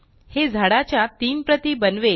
हे झाडाच्या तीन प्रती बनवेल